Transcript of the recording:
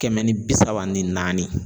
Kɛmɛ ni bi saba ni naani